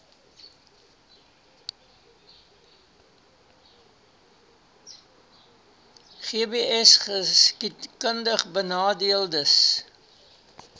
gbsgeskiedkundigbenadeeldes